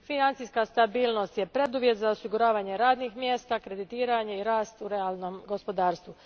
Financijska stabilnost je preduvjet za osiguravanje radnih mjesta, kreditiranje i rast u realnom gospodarstvu.